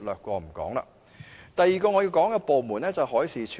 我要談的第二個部門是海事處。